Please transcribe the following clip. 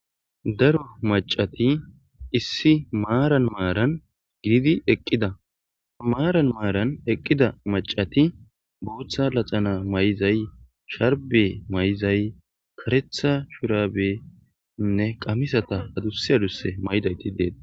Daro macati issi maaran maaran gididi eqqida maaran maaran eqqida macati booththa naxala mayiza sharbe mayizay karetha shurabenne qamisata adussi adussi mayidayti dees.